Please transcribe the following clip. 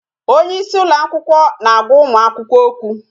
Onyeisi ụlọ akwụkwọ na-agwa ụmụ akwụkwọ okwu